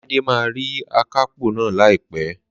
Láídé máa rí akápò náà láìpẹ́